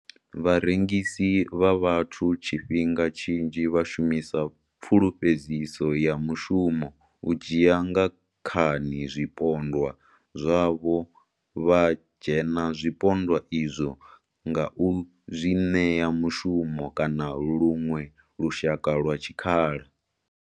Vharengisi vha vhathu tshifhinga tshinzhi vha shumisa pfulufhedziso ya mushumo u dzhia nga khani zwipondwa zwavho vha dzhena zwipondwa izwo nga u zwi ṋea mushumo kana luṅwe lushaka lwa tshikhala.